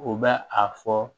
U bɛ a fɔ